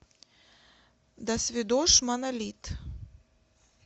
досвидошь монолит